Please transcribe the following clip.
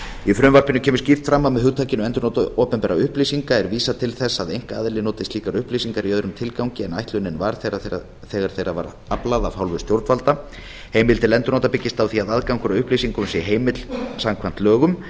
í frumvarpinu kemur skýrt fram að með hugtakinu endurnotkun opinberra upplýsinga er vísað til þess að einkaaðili noti slíkar upplýsingar í öðrum tilgangi en ætlunin var þegar þeirra var aflað af hálfu stjórnvalda heimildin til endurnota byggist á því að aðgangur að upplýsingum sé heimill samkvæmt lögum